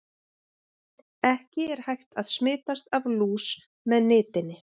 Ekki er hægt að smitast af lús með nitinni.